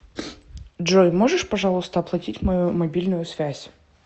джой можешь пожалуйста оплатить мою мобильную связь